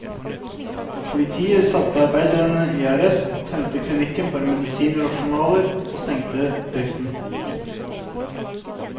Politiet satte arbeiderne i arresten, tømte klinikken for medisiner og journaler, og stengte driften.